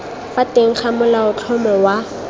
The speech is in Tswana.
fa teng ga molaotlhomo wa